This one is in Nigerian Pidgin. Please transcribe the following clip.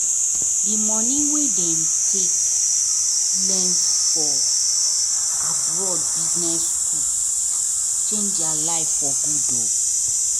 the money wen them take learn for abroad business school change there life for good